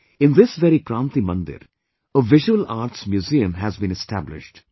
In this very Kranti Mandir, a visual arts museum has been established